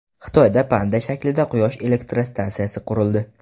Xitoyda panda shaklida quyosh elektrostansiyasi qurildi.